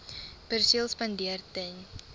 perseel spandeer ten